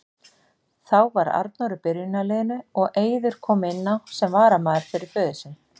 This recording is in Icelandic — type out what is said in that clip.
Þá var Arnór í byrjunarliðinu og Eiður kom inn á sem varamaður fyrir föður sinn.